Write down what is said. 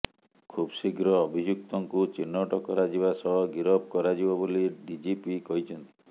ଖୁବ୍ଶୀଘ୍ର ଅଭିଯୁକ୍ତଙ୍କୁ ଚିହ୍ନଟ କରାଯିବା ସହ ଗିରଫ କରାଯିବ ବୋଲି ଡିଜିପି କହିଛନ୍ତି